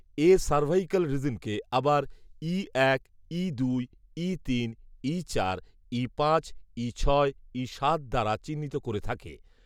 এ cervical রিজনকে আবার ঈ এক, ঈ দুই, ঈ তিন, ঈ চার, ঈ পাঁচ, ঈ ছয়, ঈ সাত দ্বারা চিহ্নিত করে থাকে